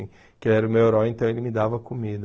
Que ele era o meu herói, então ele me dava comida.